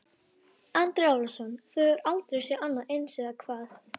Andri Ólafsson: Þú hefur aldrei séð annað eins, eða hvað?